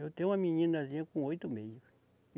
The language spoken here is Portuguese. Eu tenho uma meninazinha com oito meses.